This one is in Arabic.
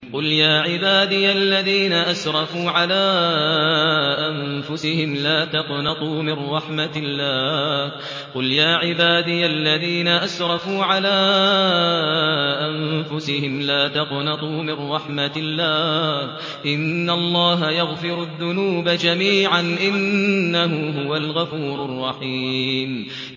۞ قُلْ يَا عِبَادِيَ الَّذِينَ أَسْرَفُوا عَلَىٰ أَنفُسِهِمْ لَا تَقْنَطُوا مِن رَّحْمَةِ اللَّهِ ۚ إِنَّ اللَّهَ يَغْفِرُ الذُّنُوبَ جَمِيعًا ۚ إِنَّهُ هُوَ الْغَفُورُ الرَّحِيمُ